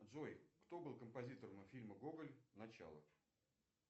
джой кто был композитором фильма гоголь начало